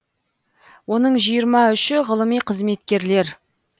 оның жиырма үші ғылыми қызметкерлер